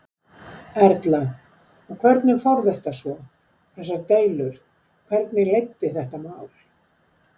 Erla: Og hvernig fór þetta svo, þessar deilur, hvernig leiddi þetta mál?